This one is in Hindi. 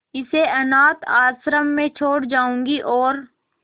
इसे अनाथ आश्रम में छोड़ जाऊंगी और